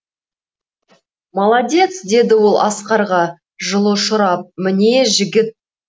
молодец деді ол асқарға жылы ұшырап міне жігіт